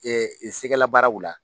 sɛgɛla baaraw la.